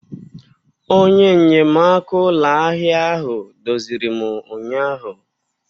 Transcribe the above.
Onye nnyemaaka ụlọ ahịa ahụ duziri m ụnyaahụ.